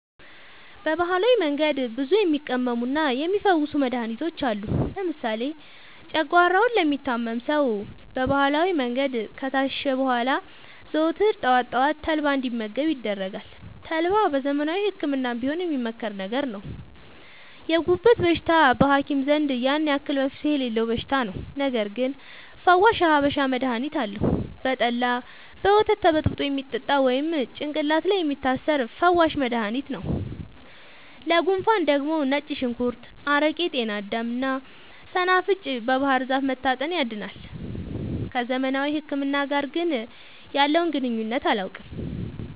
በባህላዊ መንገድ ብዙ የሚቀመሙና የሚ ፈውሱ መድሀኒቶች አሉ። ለምሳሌ ጨጓሯውን ለሚታመም ሰው በባህላዊ መንገድ ከታሸ በኋላ ዘወትር ጠዋት ጠዋት ተልባ እንዲ መገብ ይደረጋል ተልባ በዘመናዊ ህክምናም ቢሆን የሚመከር ነገር ነው። የጉበት በሽታ በሀኪም ዘንድ ያን አክል መፍትሄ የሌለው በሽታ ነው። ነገርግን ፈዋሽ የሀበሻ መድሀኒት አለው። በጠላ፣ በወተት ተበጥብጦ የሚጠጣ ወይም ጭቅላት ላይ የሚታሰር ፈዋሽ መደሀኒት ነው። ለጉንፉን ደግሞ ነጭ ሽንኩርት አረቄ ጤናዳም እና ሰናፍጭ ባህርዛፍ መታጠን ያድናል።። ከዘመናዊ ህክምና ጋር ግን ያለውን ግንኙነት አላውቅም።